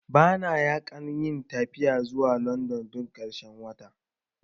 Bana na yakan yi tafiya zuwa London duk ƙarshen wata